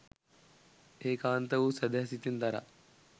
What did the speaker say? ඒකාන්ත වූ සැදැහැ සිතින් දරා